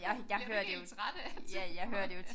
Jeg bliver helt træt af at tænke på det